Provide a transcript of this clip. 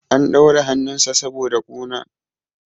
an daure hannunsa saboda kuna